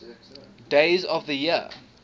days of the year